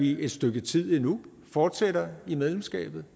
i et stykke tid endnu fortsætter i medlemskabet